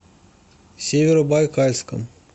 северобайкальском